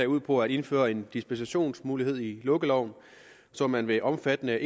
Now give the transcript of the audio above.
ud på at indføre en dispensationsmulighed i lukkeloven så man ved omfattende